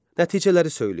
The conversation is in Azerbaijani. Nəticələri söyləyin.